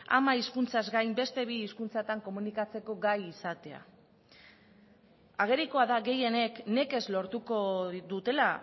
ama hizkuntzaz gain beste bi hizkuntzatan komunikatzeko gai izatea agerikoa da gehienek nekez lortuko dutela